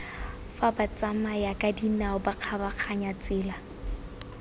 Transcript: fa batsamayakadinao ba kgabaganyang tsela